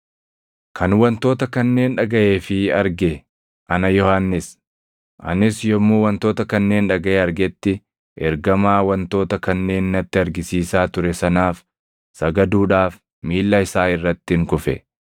Kan wantoota kanneen dhagaʼee fi arge ana Yohannis. Anis yommuu wantoota kanneen dhagaʼee argetti ergamaa wantoota kanneen natti argisiisaa ture sanaaf sagaduudhaaf miilla isaa irrattin kufe.